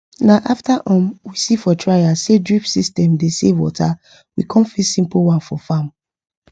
na after um we see for trial say drip system dey save water we come fix simple one for farm